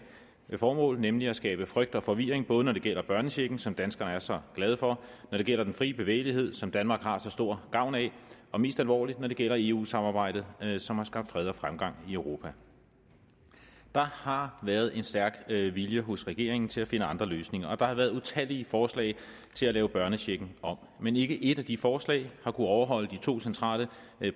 et formål nemlig at skabe frygt og forvirring både når det gælder børnechecken som danskerne er så glade for når det gælder den frie bevægelighed som danmark har så stor gavn af og mest alvorligt når det gælder eu samarbejdet som har skabt fred og fremgang i europa der har været en stærk vilje hos regeringen til at finde andre løsninger og der har været utallige forslag til at lave børnechecken om men ikke ét af de forslag har kunnet overholde de to centrale